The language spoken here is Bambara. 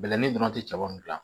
Bɛlɛnin dɔrɔn tɛ cɛbamu gilan